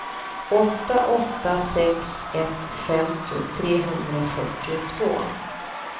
åtta åtta sex ett femtio trehundrafyrtiotvå